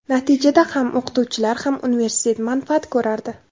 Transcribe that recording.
Natijada ham o‘qituvchilar, ham universitet manfaat ko‘rardi.